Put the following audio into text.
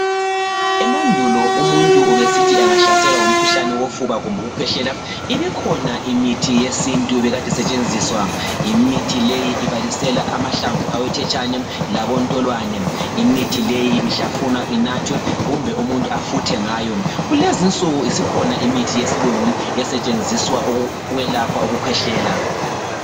Emandulo umuntu ubesithi angahlaselwa ngumkhuhlane wofuba kumbe ukuhlwehlela ibikhona imithi yesintu ebikade zisetshenziswa. Imithi eyi ibalisela amahlamvu awethetshane labontolwane. Imithi leyi ibihlafunwa, inathwe kumbe umuntu afuthe ngayo. Kulezinsuku isikhona imithi esetshenziswa ukwelapha ukukhwehlela.